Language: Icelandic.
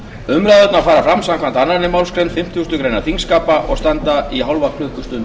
umræðurnar fara fram samkvæmt annarri málsgrein fimmtugustu grein þingskapa og standa í hálfa klukkustund